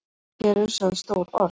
Hér eru sögð stór orð.